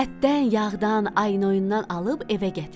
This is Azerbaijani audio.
Ətdən, yağdan, aynoyundan alıb evə gətirdi.